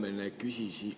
Hea Helmen!